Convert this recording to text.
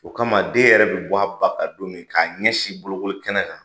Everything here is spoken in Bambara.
O kama den yɛrɛ bi a ba kan don min k'a ɲɛsin bolokoli kɛnɛ kan